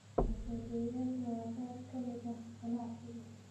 Xisaabiyeyaasha waa qayb ka mid ah ganacsiga.